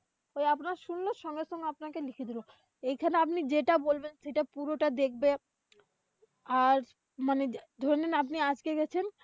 তবে আপনার শুনলো সঙ্গে সঙ্গে আপনাকে লিখে দিল। এখানে আপনি যেটা বলবেন সেটা পুরোটা দেখবে, আর মানে ধরে নেন আপনি আজকে গেছেন।